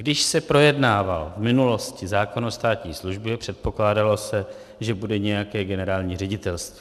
Když se projednával v minulosti zákon o státní službě, předpokládalo se, že bude nějaké generální ředitelství.